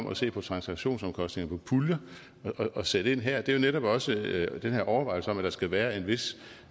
at se på transaktionsomkostninger på puljer og sætte ind her er jo netop også den her overvejelse om at der skal være en vis